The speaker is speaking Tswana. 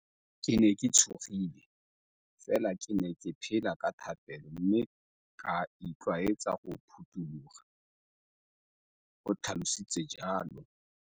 Ke ne ke tshogile, fela ke ne ke phela ka thapelo mme ka itlwaetsa go phuthologa, o tlhalositse jalo.